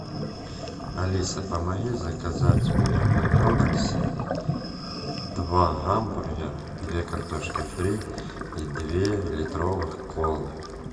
алиса помоги заказать мне в макдональдсе два гамбургера две картошки фри и две литровых колы